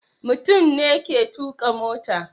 Mutum ne ke tuka mota.